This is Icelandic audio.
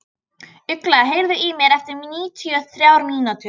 Ugla, heyrðu í mér eftir níutíu og þrjár mínútur.